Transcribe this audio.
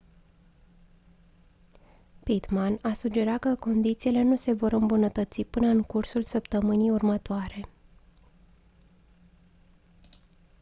pittman a sugerat că condițiile nu se vor îmbunătăți până în cursul săptămânii următoare